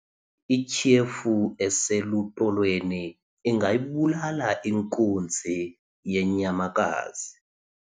ityhefu eselutolweni ingayibulala inkunzi yenyamakazi